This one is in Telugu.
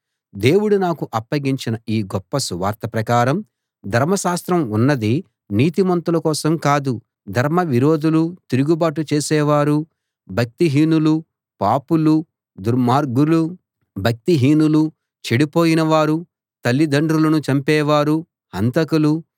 దేవుడు నాకు అప్పగించిన ఈ గొప్ప సువార్త ప్రకారం ధర్మశాస్త్రం ఉన్నది నీతిమంతుల కోసం కాదు ధర్మ విరోధులూ తిరుగుబాటు చేసేవారూ భక్తిహీనులూ పాపులూ దుర్మార్గులూ భక్తిహీనులూ చెడిపోయిన వారూ తల్లిదండ్రులను చంపేవారూ హంతకులూ